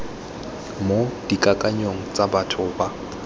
mo dikakanyong tsa batho ba